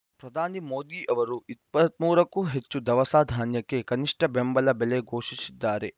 ಪ್ರಧಾನಿ ಮೋದಿ ಅವರು ಇಪ್ಪತ್ತ್ ಮೂರಕ್ಕೂ ಹೆಚ್ಚು ದವಸ ಧಾನ್ಯಕ್ಕೆ ಕನಿಷ್ಟಬೆಂಬಲ ಬೆಲೆ ಘೋಷಿಸಿದ್ದಾರೆ